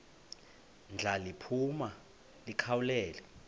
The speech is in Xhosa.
ndla liphuma likhawulele